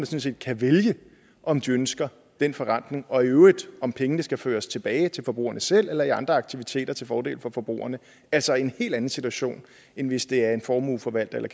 set kan vælge om de ønsker den forretning og i øvrigt om pengene skal føres tilbage til forbrugerne selv eller over i andre aktiviteter til fordel for forbrugerne altså en hel anden situation end hvis det er en formueforvalter eller